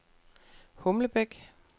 Humlebæk